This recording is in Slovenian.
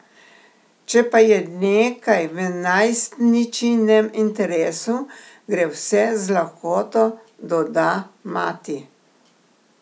Če pa je nekaj v najstničinem interesu, gre vse z lahkoto, doda mati.